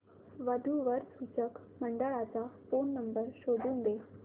वधू वर सूचक मंडळाचा फोन नंबर शोधून दे